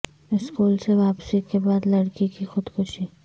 school سے واپسی کے بعد لڑکی کی خود کشی